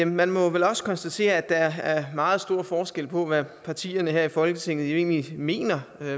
man må vel også konstatere at der er meget stor forskel på hvad partierne her i folketinget egentlig mener